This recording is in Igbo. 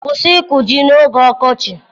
Kwụsị ịkụ ji n'oge ọkọchị!